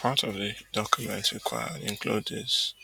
part of di documents required include dis